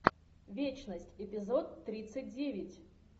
вечность эпизод тридцать девять